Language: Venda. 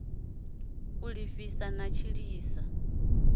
u ḓipfisa na u tshilisa